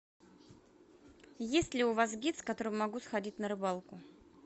есть ли у вас гид с которым могу сходить на рыбалку